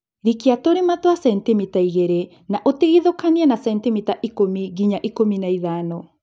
Rikia tũrima twa sentimita igĩli na ũtigithũkanie na sentimita ikũmi nginya ikũmi na ithano.